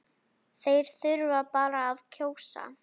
Þeir þurfa bara að kjósa